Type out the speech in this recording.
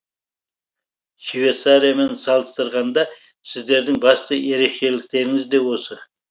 швейцариямен салыстырғанда сіздердің басты ерекшеліктеріңіз де осы